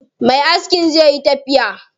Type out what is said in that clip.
Me askin zai yi tafiya.